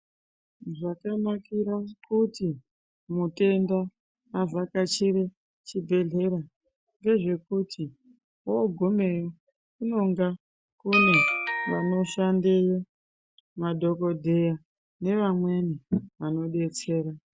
Zvakanakira kuti mutenda avhakachire chibhedhlera ngezvekuti ogumeyo kunonga kune vanoshandeyo madhokodheya nevamweni vanodetsera.